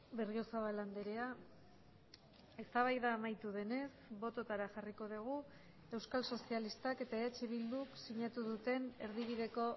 berriozabal andrea eztabaida amaitu denez bototara jarriko dugu euskal sozialistak eta eh bilduk sinatu duten erdibideko